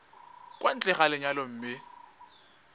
kwa ntle ga lenyalo mme